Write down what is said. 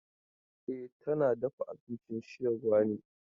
E, tana dafa abincin sayarwa ne.